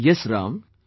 Yes Ram,